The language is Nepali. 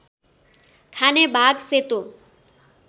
खाने भाग सेतो